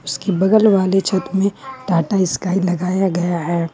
इसकी बगल वाले छत में टाटा स्काई लगाया गया है।